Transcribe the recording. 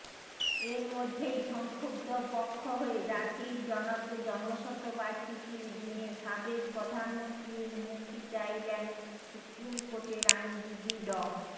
এরমধ্যেই সংক্ষুব্ধ পক্ষ হয়ে জাতির জনকের জন্মশতবার্ষিকীর দিনে সাবেক প্রধানমন্ত্রীর মুক্তি চাইলেন সুপ্রিমকোর্টের আইনজীবী ড